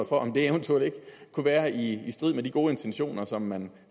for om det eventuelt ikke kunne være i strid med de gode intentioner som man